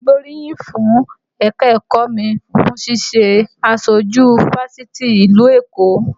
Wọ́n gbóríyìn fún ẹ̀ka-ẹ̀kọ́ mi fún ṣíṣe aṣojú fásitì ìlú Èkó